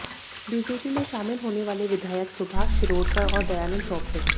BJP में शामिल होने वाले विधायक सुभाष शिरोडकर और दयानंद सोपटे